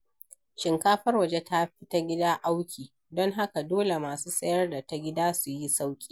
Shinkafar waje ta fi ta gida auki, don haka dole masu sayar da ta gida su yi sauƙi.